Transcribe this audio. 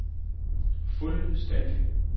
fuldstændig